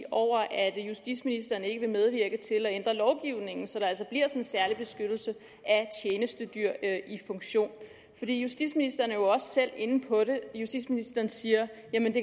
over at justitsministeren ikke vil medvirke til at ændre lovgivningen så der altså kommer en særlig beskyttelse af tjenestedyr i funktion justitsministeren er jo selv inde på det justitsministeren siger